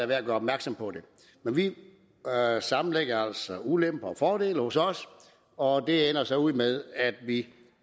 værd at gøre opmærksom på vi sammenlægger altså ulemper og fordele hos os og det ender så ud med at vi